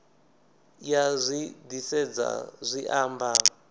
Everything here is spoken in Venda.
ya zwi disedza zwi amba